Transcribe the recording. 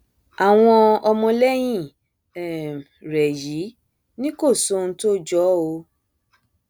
àwọn ọmọlẹyìn um rẹ yìí ni kò sóhun tó jọ ọ um o